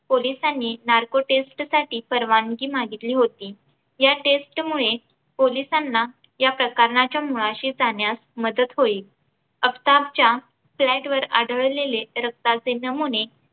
पोलिसांनी narco test साठी परवानगी मागितली होती. या test मुळे पोलिसांना या प्रकरणाच्या मुळाशी जाण्यास मदत होईल आफताबच्या flat वर आढळलेले रक्ताचे नमुने